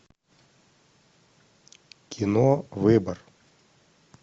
кино выбор